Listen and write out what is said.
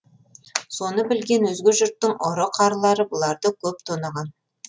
соны білген өзге жұрттың ұры қарылары бұларды көп тонаған